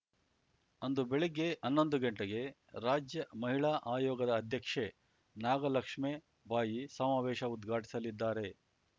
ಅಂದು ಬೆಳಗ್ಗೆ ಹನ್ನೊಂದು ಗಂಟೆಗೆ ರಾಜ್ಯ ಮಹಿಳಾ ಆಯೋಗದ ಅಧ್ಯಕ್ಷೆ ನಾಗಲಕ್ಷ್ಮೇ ಬಾಯಿ ಸಮಾವೇಶ ಉದ್ಘಾಟಿಸಲಿದ್ದಾರೆ